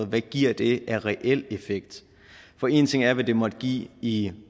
hvad giver det af reel effekt for en ting er hvad det måtte give i